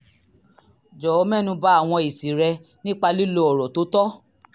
jọ̀wọ́ mẹ́nu ba àwọn èsì rẹ nípa lílo ọ̀rọ̀ tó tọ́